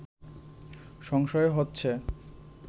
সংশয় হচ্ছে